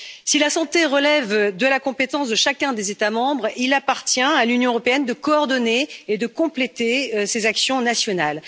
Si la santé relève de la compétence de chacun des États membres, il appartient à l'Union européenne de coordonner et de compléter ces actions nationales.